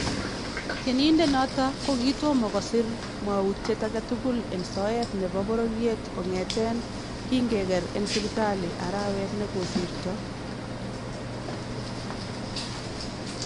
Tyenindet noton kokitomo kosiir mwawutyet agetukul en soyeet nebo bororyeet kon'eteen kingekeer en sipitalii araweet nikosirtoo